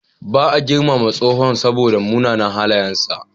Ba a girmama tsohon saboda munanan halayensa.